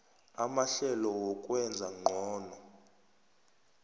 amahlelo wokwenza ngcono